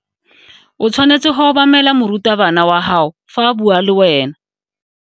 O tshwanetse go obamela morutabana wa gago fa a bua le wena.